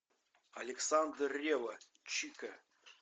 александр ревва чика